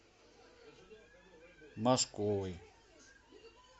машковой